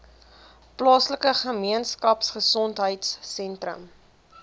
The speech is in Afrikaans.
plaaslike gemeenskapgesondheid sentrum